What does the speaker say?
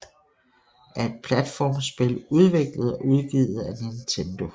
er et platformspil udviklet og udgivet af Nintendo